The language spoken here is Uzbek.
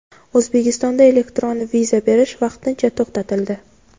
O‘zbekistonda elektron viza berish vaqtincha to‘xtatildi.